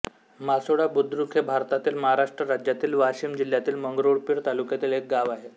मासोळा बुद्रुक हे भारतातील महाराष्ट्र राज्यातील वाशिम जिल्ह्यातील मंगरुळपीर तालुक्यातील एक गाव आहे